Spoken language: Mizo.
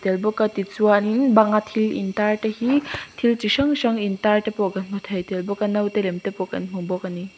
bawk a ti chuan in bang a thil in tar te hi thil chi hrang hrang in tar te pawh kan hmu thei tel bawk a nautelem te pawh kan hmu bawk a ni.